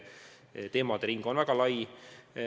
Teemade ring on väga lai.